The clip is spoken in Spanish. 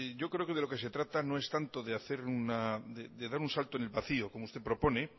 yo creo que de lo que se trata no es tanto de dar un salto en el vacío como usted propone